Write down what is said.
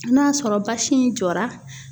N'a sɔrɔ basi in jɔra